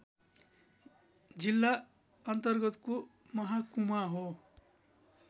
जिल्लाअन्तर्गतको मह्कुमा हो